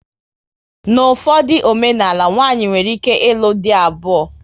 N'ufodu omenala, nwanyị nwere ike ilu dị abuo